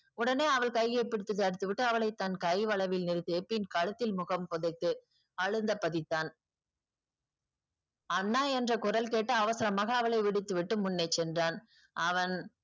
உடனே அவள் கையை பிடித்து தடுத்துவிட்டு அவளை தான் கை வளைவில் நிறுத்தியபின் கழுத்தில் முகம் புதைத்து அழுந்த புதைத்தான் அண்ணா என்ற குரல் கெட்டு அவசரம்மாக அவளை விடுத்துவிட்டு முன்னே சென்றான் அவன்